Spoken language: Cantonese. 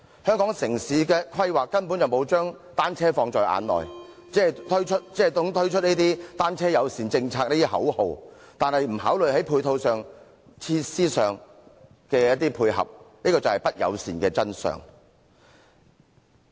香港城市規劃根本沒有把單車放在眼內，只懂推出單車友善政策這類口號，卻不考慮在配套及設施上作出配合，這便是不友善的真相。